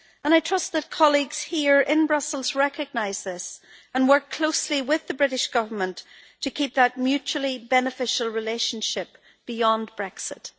I trust that colleagues here in Brussels recognise this and will work closely with the British Government to keep that mutually beneficial relationship beyond Brexit.